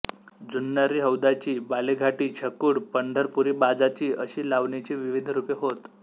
जुन्नरी हौद्याची बालेघाटी छकुड पंढरपुरीबाजाची अशी लावणीची विविध रूपे होत